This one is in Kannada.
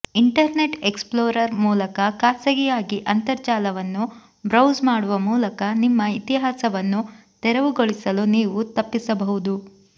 ಇಂಟರ್ನೆಟ್ ಎಕ್ಸ್ಪ್ಲೋರರ್ ಮೂಲಕ ಖಾಸಗಿಯಾಗಿ ಅಂತರ್ಜಾಲವನ್ನು ಬ್ರೌಸ್ ಮಾಡುವ ಮೂಲಕ ನಿಮ್ಮ ಇತಿಹಾಸವನ್ನು ತೆರವುಗೊಳಿಸಲು ನೀವು ತಪ್ಪಿಸಬಹುದು